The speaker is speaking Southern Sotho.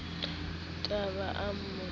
t a ba a mo